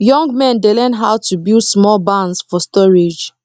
young men dey learn how to build small barns for storage